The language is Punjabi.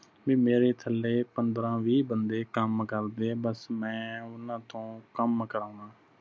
ਬਈ ਮੇਰੇ ਥਲੇ ਪੰਦ੍ਹਰਾ ਵੀਹ ਬੰਦੇ ਕੰਮ ਕਰਦੇ ਬਸ ਮੈਂ ਓਹਨਾ ਤੋਂ ਕੰਮ ਕਰਾਵਾ।